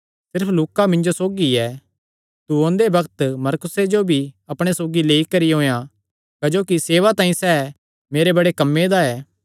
सिर्फ लूका मिन्जो सौगी ऐ तू ओंदे बग्त मरकुसे जो भी अपणे सौगी लेई करी औयेयां क्जोकि सेवा तांई सैह़ मेरे बड़े कम्मे दा ऐ